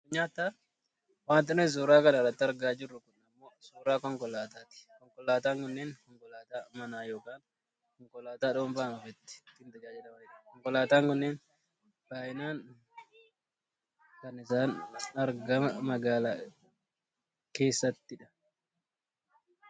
Wanti nuti suuraa kana irratti argaa jirru kun ammoo suuraa konkolaataati. Konkolaataan kunneen Konkolaataa manaa yookaan Konkolaataa dhuunfaan ofiitti ittiin tajaajilamanidha. Konkolaataan kunneen baayyinaan kan isaan argama magaalaa keesssati dha.